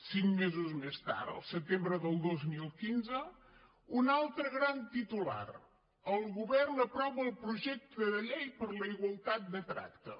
cinc mesos més tard al setembre del dos mil quinze un altre gran titular el govern aprova el projecte de llei per a la igualtat de tracte